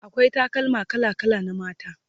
akwai takalma kala kala na mata